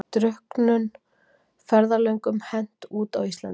Drukknum ferðalöngum hent út á Íslandi